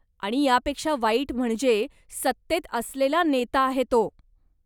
आणि यापेक्षा वाईट म्हणजे, सत्तेत असलेला नेता आहे तो.